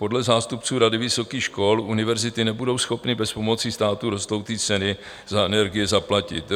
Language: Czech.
Podle zástupců Rady vysokých škol univerzity nebudou schopny bez pomoci státu rostoucí ceny za energie zaplatit.